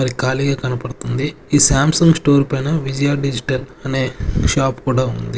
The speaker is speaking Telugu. మరి కాలీగా కనపడుతుంది ఈ సామ్ సుంగ్ స్టోర్ పైన విజయ డిజిటల్ అనే షాప్ కూడా ఉంది.